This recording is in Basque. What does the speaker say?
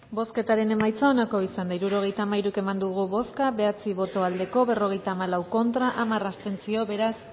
bozketaren emaitza onako izan da hirurogeita hamairu eman dugu bozka bederatzi boto aldekoa berrogeita hamalau contra hamar abstentzio beraz